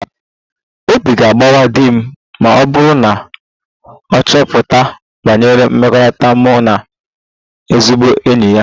Obi ga-agbawa di m ma ọ bụrụ na ọ chọpụta banyere mmekọrịta mụ na ezigbo enyi ya